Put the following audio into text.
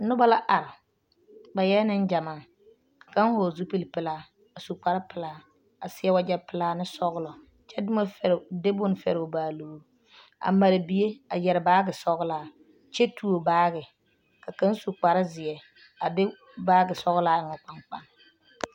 Noba la are ba eɛ neŋgyɛmaa ka kaŋa hɔɔle zupili pelaa a su kpare pelaa a seɛ wagyɛ pelaa ne sɔgelɔ kyɛ de bone fɛre o baalogiri a mare bie a yɛre baagi sɔgelaa kyɛ tuo baagi ka kaŋa su kpare zeɛ a de baagi sɔgelaa eŋ o kpaŋkpane.